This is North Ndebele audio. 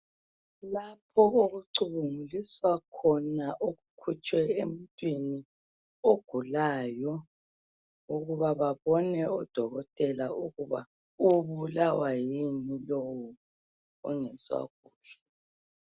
Lapho okucubunguliswa khona okukhitshwe emuntwini ogulayo ukuba odokotela babone ukuthi ubulawa yini lo ongezwa kuhle.